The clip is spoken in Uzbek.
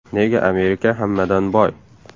Nega Amerika hammadan boy?.